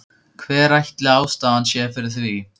Hver ætli ástæðan sé fyrir því?